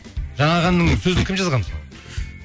жаңағы әннің сөзін кім жазған мысалы